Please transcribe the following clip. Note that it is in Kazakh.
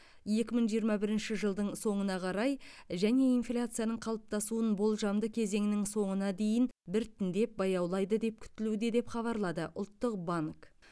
екі мың жиырма бірінші жылдың соңына қарай және инфляцияның қалыптасуын болжамды кезеңнің соңына дейін біртіндеп баяулайды деп күтілуде деп хабарлады ұлттық банк